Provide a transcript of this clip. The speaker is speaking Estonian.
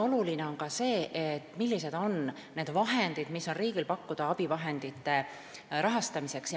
Oluline on ka see, kui palju raha on riigil pakkuda abivahendite rahastamiseks.